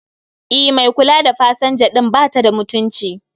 E, mai kula da pasanja din batada mutunci